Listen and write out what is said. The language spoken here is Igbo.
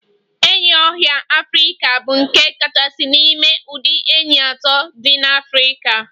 Enyí ọhịa Africa bụ nke kachasị n'ime ụdị enyí atọ dị n'Afrika.